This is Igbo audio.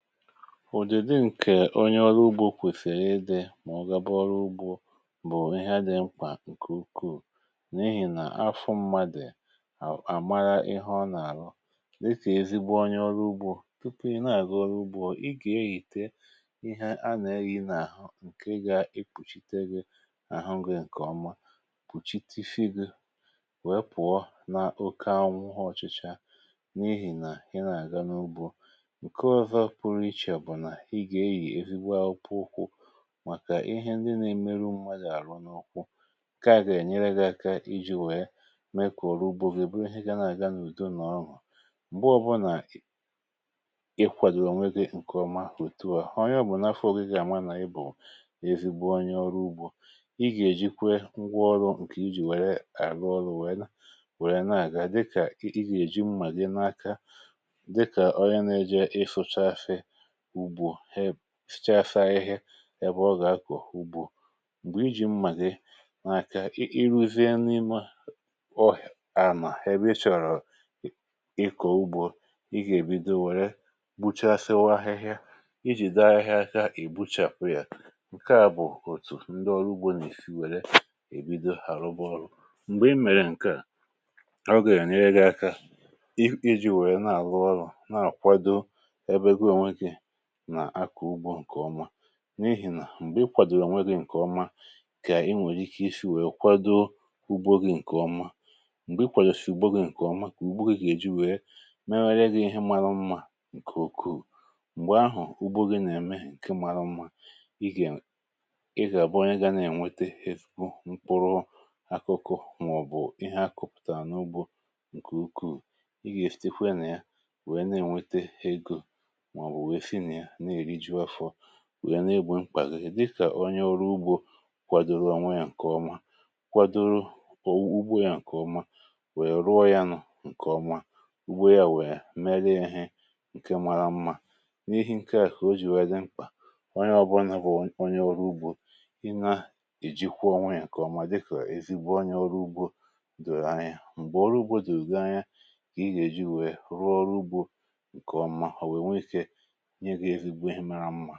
ụ̀dị dị ǹkè onye ọrụ ugbȯ kwèfèrè ịdị̇ mà ọ gaba ọrụ ugbȯ bụ̀ ihe adị mkpà ǹkè ukwu n’ihì nà afụ mmadè àmara ịhụ̇ ọ nà-àhụ dịkà ezigbo onye ọrụ ugbȯ. tupu ị nà-àga ọrụ ugbȯ, ị gà-ehìte ihe a nà-eyì n’àhụ, ǹkè gà-ekpùchiteghi àhụ gị ǹkè ọma, pụ̀chite fungus, pụ̀ọ na oke anwụ ha ọ̀chịchȧ, n’ihì nà ị nà-àga n’ugbȯ. bụ̀ nà ị gà-eyì evigbo akwu ụkwụ màkà ihe ndị na-emeru mmadụ àrụ n’ụkwụ, ǹkaà gà-ènyere gị̇ aka ijì wee mee kòrò ugbȯ, gèe buru ihe gȧ na-àga n’ùdo nà ọ hà m̀gbo ọbụnà ị kwàdòrò nwẹ gị ǹkè ọmà. òtu à ọ ya bụ̀ n’afọ̇, oge gà-àma nà ị bụ̀ nà-ewigbo onye ọrụ ugbȯ. ị gà-èji kwuo ngwa ọrụ̇, ǹkè ijì wère àrụ ọrụ, wẹn wẹrẹ naà ga, dịkà ị gà-èji mmà gị n’aka dịkà ọrịȧ, na-ejė ịfụcha afẹ ugbȯ, he hechaa, saa ihė ebe ọ gà-akọ̀ ugbȯ. m̀gbè iji̇ mmàdee n’aka, ịrụ̇zie n’imė à nà ebe ị chọ̀rọ̀ ịkọ̀ ugbȯ, ị gà-èbido wèrè buchàsịwa ahịhịa ijì daa ahịhịa aka. ì buchàpụ yȧ ǹkè à bụ̀ òtù ndị ọrụ ugbȯ nà ìfì wère èbido àrụbọ ọrụ̇. m̀gbè i mèrè ǹkè à, ọ gà-ènyere akȧ ijì wèrè nà àlụ ọrụ̇, n’ihì nà m̀gbè i kwàdòrò nwe gị̇ ǹkè ọma, kà inwèrè ike isi wèe kwado ugbȯ gị̇ ǹkè ọma. m̀gbè i kwàdòrò si ugbȯ gị̇ ǹkè ọma, kà ugbȯ gị̇ gà-èji wèe mewara gị̇ ihe marụ mmȧ. ǹkè òkù m̀gbè ahụ̀, ugbȯ gị nà-ème ǹkè marụ mmȧ, ị gà abụọ ya, gà na-ènwete ifu mkpụrụ akụkụ màọbụ̀ ihe akụ̇pụ̀tà n’ugbȯ ǹkè ukwuù, wèe na-egbė mkpà gị dịkà onye ọrụ ugbȯ kwàdòrò onwe ya ǹkè ọma, kwàdòrò ugbȯ ya ǹkè ọma, wèe rụọ ya n’ọ ǹkè ọma, ugbȯ ya wèe melu ya nke mara mmȧ. n’ihì nke à kà o jì wee dị mkpà onye ọbọlà bụ onye ọrụ ugbȯ, ị na-ejikwa ọnwe ya ǹkè ọma dịkà ezigbo onye ọrụ ugbȯ. dòrò anya m̀gbè ọrụ ugbȯ, dògȧ anya kà ị yà èji wèe rụọ ọrụ ugbȯ ǹkè ọma. ǹkẹ̀ m.